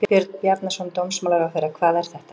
Björn Bjarnason, dómsmálaráðherra: Hvað er þetta?